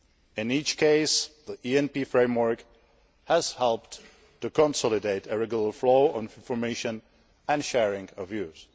In each case, the ENP framework has helped to consolidate a regular flow of information and sharing of views.